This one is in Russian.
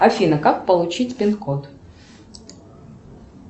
афина как получить пин код